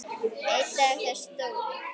Einn dag þegar Stóri